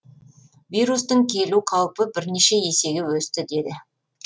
вирустың келу қаупі бірнеше есеге өсті деді